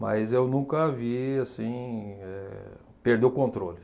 mas eu nunca vi, assim, eh perder o controle.